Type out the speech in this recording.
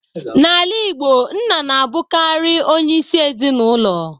N'ala Igbo, Nna na-abụkarị onyeisi ezinụlọ.